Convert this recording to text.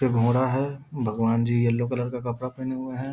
एक घोड़ा है भगवान जी येल्लो कलर का कपड़ा पेहने हुए हैं।